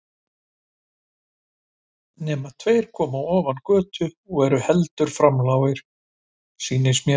Nema tveir koma ofan götu og eru heldur framlágir, sýnist mér.